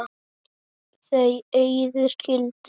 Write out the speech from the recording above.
Þau Auður skildu.